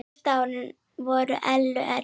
Síðustu árin voru Ellu erfið.